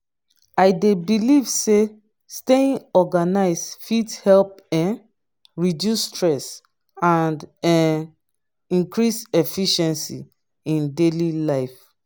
i dey believe say staying organized fit help um reduce stress and um increase efficiency in daily life.